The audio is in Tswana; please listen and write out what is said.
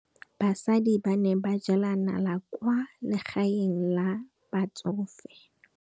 Basadi ba ne ba jela nala kwaa legaeng la batsofe.